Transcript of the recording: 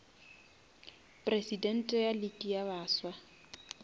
presidente ya league ya baswa